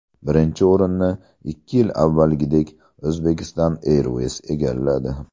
Birinchi o‘rinni, ikki yil avvalgidek, Uzbekistan Airways egalladi.